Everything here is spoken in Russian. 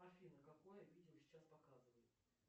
афина какое видел сейчас показываю